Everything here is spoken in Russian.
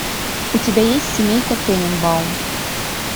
у тебя есть семейка тененбаум